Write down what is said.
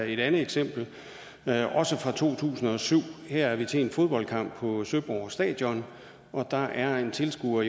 et andet eksempel også fra to tusind og syv her er vi til en fodboldkamp på søborg stadion og der er en tilskuer